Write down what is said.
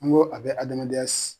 An ko a be adamadenya si